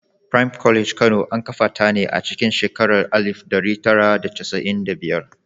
Prime College Kano, an kafa ta ne a cikin shekarar alif ɗari tara da casa’in da biyar.